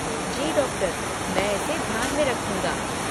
जी doctor! मैं इसे ध्यान में रखूंगा।